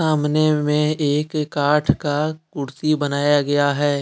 सामने में एक काठ का कुर्सी बनाया गया है।